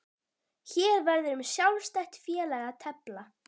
Hér verður um sjálfstætt félag að tefla.